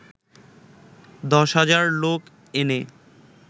দশ হাজার লোক এনে